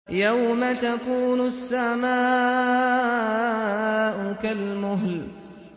يَوْمَ تَكُونُ السَّمَاءُ كَالْمُهْلِ